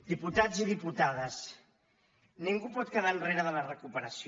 diputats i diputades ningú pot quedar enrere de la recuperació